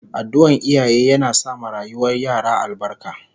Addu'an iyaye yana sa ma rayuwar yara albarka